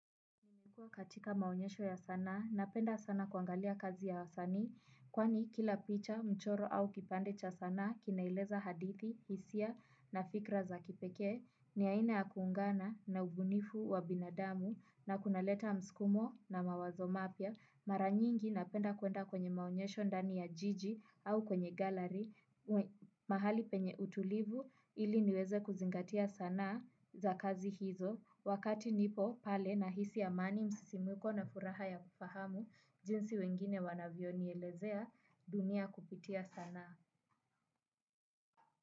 Kwa hiyo katika maonyesho ya sanaa, napenda sana kuangalia kazi ya wasani, kwani kila picha, mchoro au kipande cha sana, kinaeleza hadithi, hisia na fikra za kipekee, ni aina ya kuungana na ubunifu wa binadamu na kunaleta mskumo na mawazo mapya. Mara nyingi napenda kuenda kwenye maonyesho ndani ya jiji au kwenye gallery mahali penye utulivu ili niweze kuzingatia sanaa za kazi hizo wakati nipo pale nahisi amani msisimko na furaha ya kufahamu jinsi wengine wanavyo nielezea dunia kupitia sanaa.